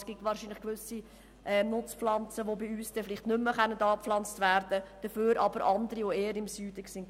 Es gibt wahrscheinlich gewisse Nutzpflanzen, die künftig bei uns nicht mehr angebaut werden können, dafür aber andere, die eher im Süden heimisch sind.